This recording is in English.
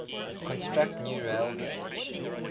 construct new railgauge